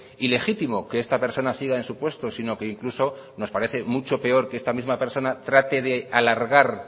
ilegítimo que esta persona siga en su puesto sino incluso que nos parece mucho peor que esta misma persona trate de alargar